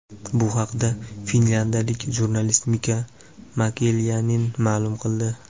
Bu haqda finlyandiyalik jurnalist Mika Makelaynen ma’lum qildi.